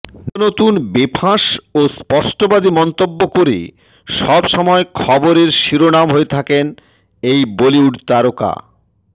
নিত্য নতুন বেফাঁস ও স্পষ্টবাদী মন্তব্য করে সবসময় খবরের শিরোনাম হয়ে থাকেন এই বলিউড তারকা